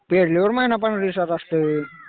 पेरल्यावर महिन्या पंधरा दिवसाला असतं.